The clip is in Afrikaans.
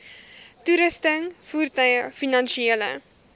toerusting voertuie finansiële